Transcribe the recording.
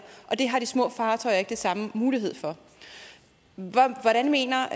og det har de små fartøjer ikke den samme mulighed for hvordan mener